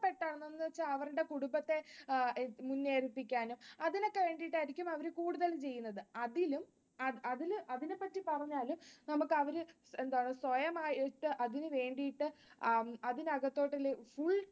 ഇഷ്ടപെട്ടതു അവരുടെ കുടുംബത്തെ അതിനൊക്കെ വേണ്ടിയിട്ടായിരിക്കും അവര് കൂടുതൽ ചെയ്യുന്നത്. അതിലും അതിനെപ്പറ്റി പറഞ്ഞാലും നമുക്ക് അവര് എന്താണ് സ്വയമായിട്ട് അതിനു വേണ്ടീട്ട് ആ അതിനകത്തോട്ട്